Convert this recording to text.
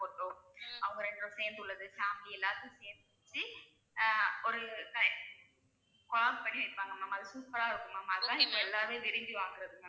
photo அவங்க ரெண்டு பேரும் சேர்ந்து உள்ளது, family எல்லாத்தையும் சேர்த்து வச்சு ஆஹ் ஒரு பண்ணி வைப்பாங்க ma'am அது super ஆ இருக்கும் ma'am அதெல்லாம் இப்போ எல்லாருமே விரும்பி வாங்குறது ma'am